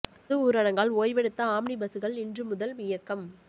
பொது ஊரடங்கால் ஓய்வெடுத்த ஆம்னி பஸ்கள் இன்று முதல் இயக்கம்